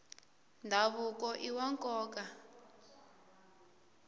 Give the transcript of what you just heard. ndhavuko iwa nkoka